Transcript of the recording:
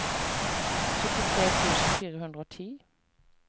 syttitre tusen fire hundre og ti